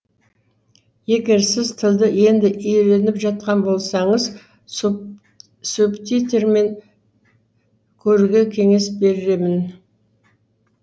егер сіз тілді енді үйреніп жатқан болсаңыз субтитрмен көруге кеңес беремін